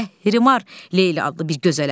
Səhərimar Leyli adlı bir gözələ.